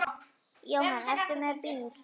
Jóhann: Ertu með bíl?